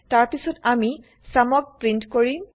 তাৰ পিছত আমিsumক প্ৰিন্ট কৰিম